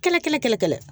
Kelen kelen kelen kelen